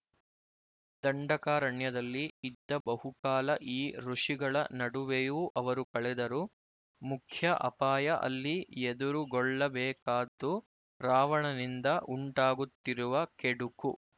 ದಂಡಕಾರಣ್ಯದಲ್ಲಿ ಇದ್ದ ಬಹುಕಾಲ ಈ ಋಷಿಗಳ ನಡುವೆಯೂ ಅವರು ಕಳೆದರು ಮುಖ್ಯ ಅಪಾಯ ಅಲ್ಲಿ ಎದುರುಗೊಳ್ಳಬೇಕಾದ್ದು ರಾವಣನಿಂದ ಉಂಟಾಗುತ್ತಿರುವ ಕೆಡುಕು